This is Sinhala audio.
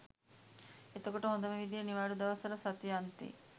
එතකොට හොඳම විදිය නිවාඩු දවස්වල සති අන්තෙ